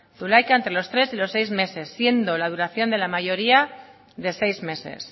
zulaika entre los tres y seis meses siendo la duración de mala mayoría de seis meses